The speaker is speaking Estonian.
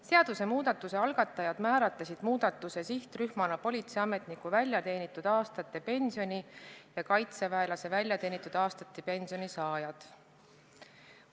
Seadusemuudatuse algatajad määratlesid muudatuse sihtrühmana politseiametniku väljateenitud aastate pensioni ja kaitseväelase väljateenitud aastate pensioni saajad.